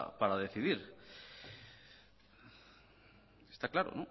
para decidir está claro